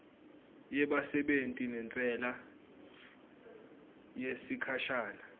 yebasebenti nentsela yesikhashana